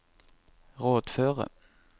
rådføre